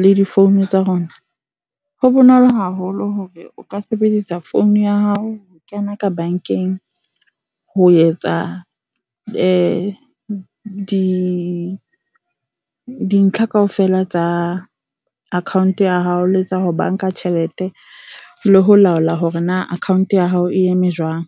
le di-phone tsa rona. Ho bonolo haholo hore o ka sebedisa phone ya hao ho kena ka bankeng, ho etsa di dintlha kaofela tsa account ya hao. Le tsa ho banka tjhelete le ho laola hore na account ya hao e eme jwang.